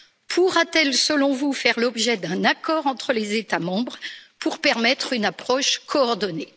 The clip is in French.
Pourra t elle, selon vous, faire l'objet d'un accord entre les États membres pour permettre une approche coordonnée?